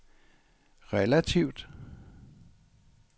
relativt